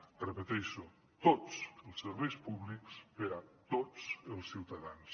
ho repeteixo tots els serveis públics per a tots els ciutadans